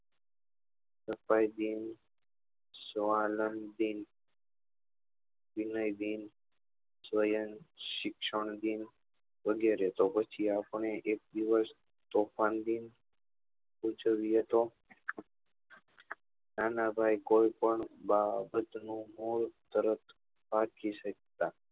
શિક્ષણ દિન વગરે તો પછી આપડે એક દિવસ તોફાન દિવસ ઉજવીએ તો ના ના ભાઈ કોઈ પણ બાબત નું મુ તરત રાખી શકતા